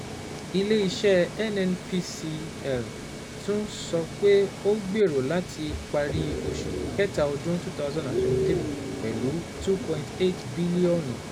Ile-iṣẹ NNPCL tun sọ pe o gbero lati pari oṣu Kẹta ọdun 2023 pẹlu 2.8 bilionu